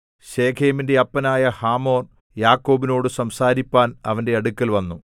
ശെഖേമിന്റെ അപ്പനായ ഹമോർ യാക്കോബിനോടു സംസാരിപ്പാൻ അവന്റെ അടുക്കൽ വന്നു